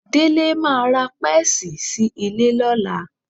Délé máa ra pẹ́ẹ́sì sí ilé lọ́la